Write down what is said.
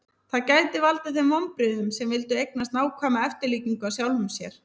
það gæti valdið þeim vonbrigðum sem vildu eignast nákvæma eftirlíkingu af sjálfum sér